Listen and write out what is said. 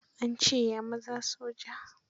An ce ya zama soja.